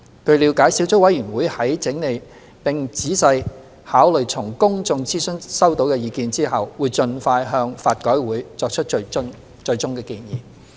據了解，小組委員會在整理並仔細考慮從公眾諮詢收到的意見後，會盡快向法改會作出最終建議。